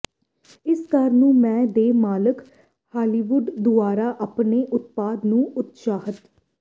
ਇਸ ਘਰ ਨੂੰ ਮੈ ਦੇ ਮਾਲਕ ਹਾਲੀਵੁੱਡ ਦੁਆਰਾ ਆਪਣੇ ਉਤਪਾਦ ਨੂੰ ਉਤਸ਼ਾਹਤ